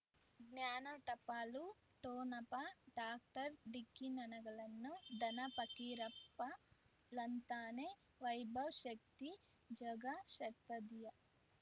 ಜ್ಞಾನ ಟಪಾಲು ಠೊಣಪ ಡಾಕ್ಟರ್ ಢಿಕ್ಕಿ ಣಗಳನು ಧನ ಫಕೀರಪ್ಪ ಳಂತಾನೆ ವೈಭವ್ ಶಕ್ತಿ ಝಗಾ ಷಟ್ಪದಿಯ